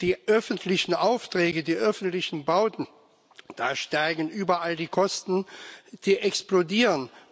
Die öffentlichen Aufträge, die öffentlichen Bauten da steigen überall die Kosten, die explodieren.